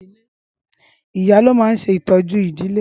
ìyá ló ma n se ìtójú ìdílé.